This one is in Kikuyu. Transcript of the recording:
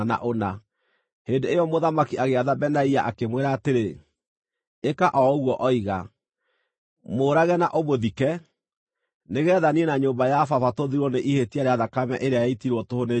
Hĩndĩ ĩyo mũthamaki agĩatha Benaia, akĩmwĩra atĩrĩ, “Ĩka o ũguo oiga. Mũũrage na ũmũthike, nĩgeetha niĩ na nyũmba ya baba tũthirwo nĩ ihĩtia rĩa thakame ĩrĩa yaitirwo tũhũ nĩ Joabu.